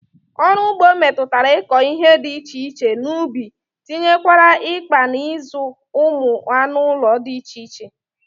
Ọrụ ụgbọ metụtara ịkọ ihe dị iche iche n'ubi tinyekwara ịkpa na ịzụ ụmụ anụụlọ dị iche iche